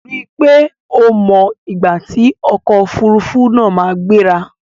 Rí i pé o mọ ìgbà tí ọkò òfurufú náà máa gbéra!